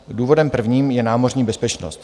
Důvodem prvním je námořní bezpečnost.